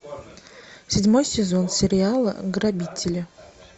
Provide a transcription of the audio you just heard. седьмой сезон сериала грабители